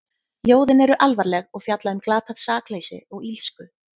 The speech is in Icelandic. Ljóðin eru alvarleg og fjalla um glatað sakleysi og illsku.